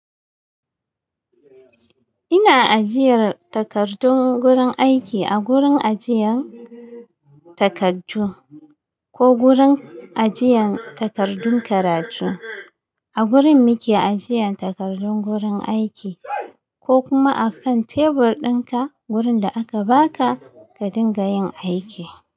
Ina ajiyar takardun gurin aiki a gurin ajiyan takardu ko gurin ajiyan takardun karatu. A gurin muke ajiyan takardun gurin aiki ko kuma a kan tebur dinka gurin da aka baka ka dinga yin aiki.